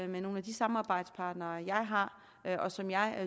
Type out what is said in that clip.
med nogle af de samarbejdspartnere jeg har og som jeg